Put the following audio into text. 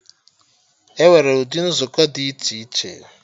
Enwere ụdị nzukọ dị iche iche